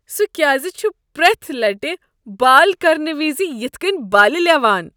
سہ کیٛازِ چھ پرٛیتھ لٹہ بال کرنہٕ وز یتھ کٔنۍ بالِہ لیوان ؟